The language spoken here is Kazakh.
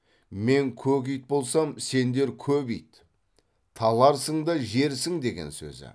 мен көк ит болсам сендер көп ит таларсың да жерсің деген сөзі